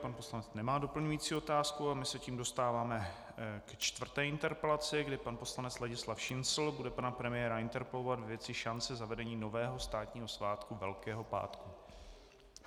Pan poslanec nemá doplňující otázku a my se tím dostáváme ke čtvrté interpelaci, kdy pan poslanec Ladislav Šincl bude pana premiéra interpelovat ve věci šance zavedení nového státního svátku Velkého pátku.